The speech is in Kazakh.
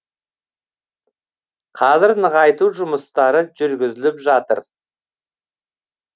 қазір нығайту жұмыстары жүргізіліп жатыр